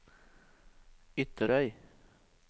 Ytterøy